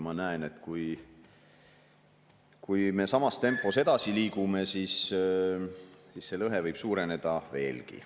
Ma näen, et kui me samas tempos edasi liigume, siis see lõhe võib veelgi suureneda.